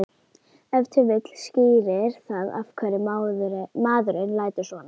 Ef til vill skýrir það af hverju maðurinn lætur svona.